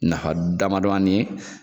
Nfa damadaye